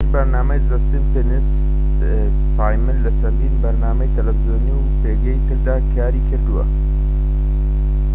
پێش بەرنامەی زە سیمپسنس سایمن لە چەندان بەرنامەی تەلەڤیزۆنی و پێگەی تردا کاری کردبوو